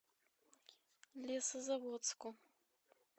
лесозаводску